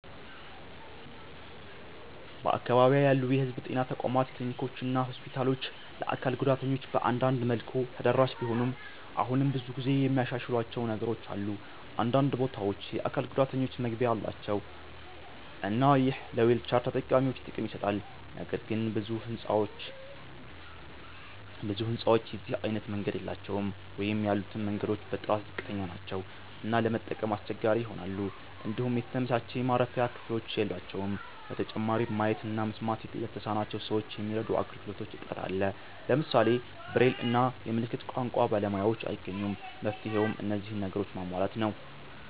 በአካባቢዬ ያሉ የህዝብ ጤና ተቋማት ክሊኒኮችና ሆስፒታሎች ለአካል ጉዳተኞች በአንዳንድ መልኩ ተደራሽ ቢሆኑም አሁንም ብዙ የሚያሻሽሏቸው ነገሮች አሉ። አንዳንድ ቦታዎች የአካል ጉዳተኞች መግቢያ አላቸው እና ይህ ለዊልቸር ተጠቃሚዎች ጥቅም ይሰጣል። ነገር ግን ብዙ ህንጻዎች የዚህ አይነት መንገድ የላቸውም ወይም ያሉትም መንገዶች በጥራት ዝቅተኛ ናቸው እና ለመጠቀም አስቸጋሪ ይሆናሉ። እንዲሁም የተመቻቸ የማረፊያ ክፍሎች የሏቸውም። በተጨማሪም ማየት እና መስማት ለተሳናቸው ሰዎች የሚረዱ አገልግሎቶች እጥረት አለ። ለምሳሌ ብሬል እና የምልክት ቋንቋ ባለሙያዎችን አይገኙም። መፍትሄውም እነዚህን ነገሮች ማሟላት ነው።